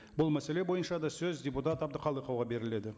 бұл мәселе бойынша да сөз депутат әбдіқалықоваға беріледі